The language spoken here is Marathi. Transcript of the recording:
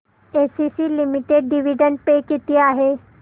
एसीसी लिमिटेड डिविडंड पे किती आहे